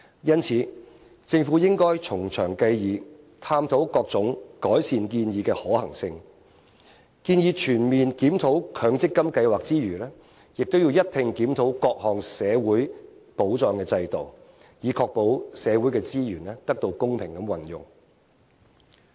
因此，政府應該從長計議，探討各種改善建議的可行性，建議在全面檢討強積金計劃之餘，亦要一併檢討各項社會保障制度，以確保社會資源得到公平運用。